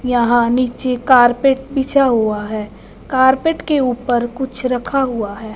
यहां नीचे कारपेट बिछा हुआ है कारपेट के ऊपर कुछ रखा हुआ है।